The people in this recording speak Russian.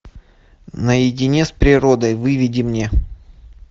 наедине с природой выведи мне